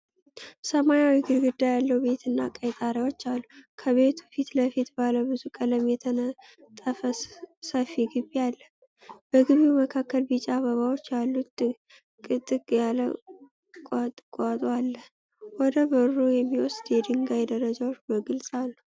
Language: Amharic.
ሰማያዊ ግድግዳ ያለው ቤትና ቀይ ጣሪያዎች አሉ። ከቤቱ ፊትለፊት ባለ ብዙ ቀለም የተነጠፈ ሰፊ ግቢ አለ። በግቢው መካከል ቢጫ አበባዎች ያሉት ጥቅጥቅ ያለ ቁጥቋጦ አለ። ወደ በሩ የሚወስዱ የድንጋይ ደረጃዎች በግልጽ አሉ።